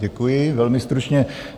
Děkuji, velmi stručně.